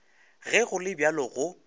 ge go le bjalo go